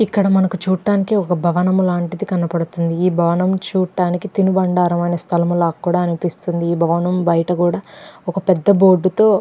ఇక్కడ మనకి చూడ్డానికి ఒక భవనము లాంటిది కనపడుతుంది. ఈ భవనము చూడ్డానికి తినుబండారమైన స్థలం కూడా అనిపిస్తుంది. బయట కూడా ఒక పెద్ద బోర్డు తో--